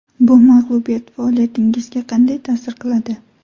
Bu mag‘lubiyat faoliyatingizga qanday ta’sir qiladi?